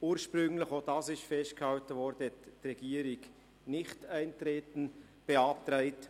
Wie bereits festgehalten, hatte die Regierung ursprünglich Nichteintreten beantragt.